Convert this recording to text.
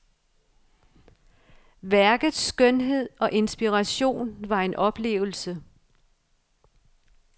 Værkets skønhed og inspiration var en oplevelse.